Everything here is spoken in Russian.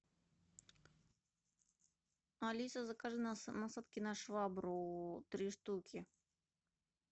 алиса закажи насадки на швабру три штуки